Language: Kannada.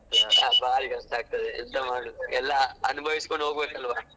ಬಾರಿ ಕಷ್ಟ ಆಗ್ತದೆ ಎಂತ ಮಾಡುದು ಎಲ್ಲ ಅನುಭವಿಸ್ಕೊಂಡು ಹೋಗ್ಬೇಕಲ್ವಾ.